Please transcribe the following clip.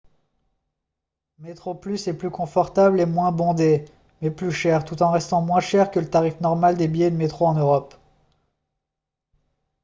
metroplus est plus confortable et moins bondé mais plus cher tout en restant moins cher que le tarif normal des billets de métro en europe